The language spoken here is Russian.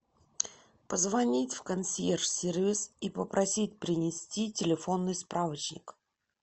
позвонить в консьерж сервис и попросить принести телефонный справочник